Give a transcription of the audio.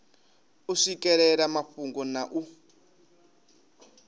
u swikelela mafhungo na u